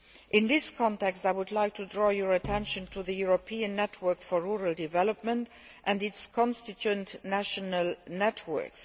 In this context, I would like to draw your attention to the European Network for Rural Development and its constituent national networks.